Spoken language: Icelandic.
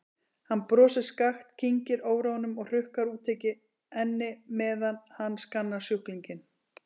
Hann brosir skakkt, kyngir óróanum og hrukkar útitekið ennið meðan hann skannar sjúklinginn.